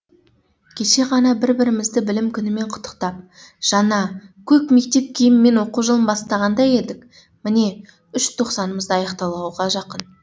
кеше ғана бір бірімізді білім күнімен құттықтап жаңа көк мектеп киімімен оқу жылын бастағандай едік міне үш тоқсанымыз да аяқталуға жақын